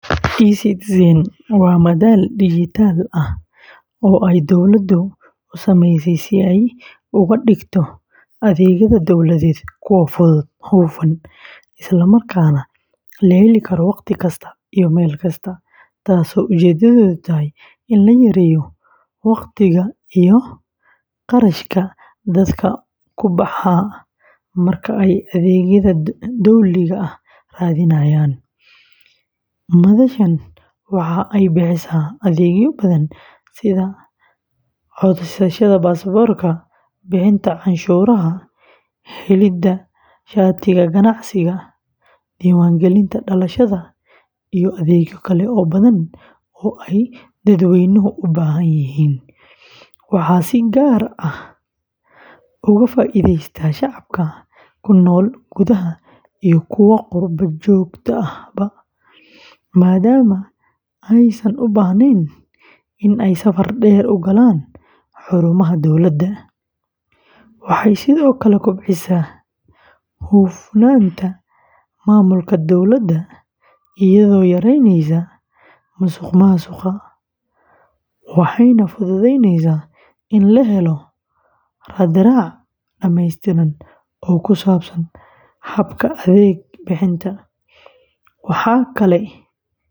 eCitizen waa madal dijitaal ah oo ay dawladdu u sameysay si ay uga dhigto adeegyada dowladeed kuwo fudud, hufan, isla markaana la heli karo waqti kasta iyo meel kasta, taasoo ujeedadeedu tahay in la yareeyo waqtiga iyo kharashka dadka ku baxa marka ay adeegyada dowliga ah raadinayaan. Madashan waxa ay bixisaa adeegyo badan sida codsashada baasaboorka, bixinta canshuuraha, helidda shatiyada ganacsiga, diiwaangelinta dhalashada, iyo adeegyo kale oo badan oo ay dadweynuhu u baahan yihiin. Waxaa si gaar ah uga faa’iidaysta shacabka ku nool gudaha iyo kuwa qurbo-joogta ahba, maadaama aysan u baahnayn in ay safar dheer u galaan xarumaha dowladda. Waxay sidoo kale kobcisaa hufnaanta maamulka dowladda, iyadoo yareyneysa musuqmaasuqa, waxayna fududeyneysaa in la helo raadraac dhameystiran oo ku saabsan habka adeeg bixinta.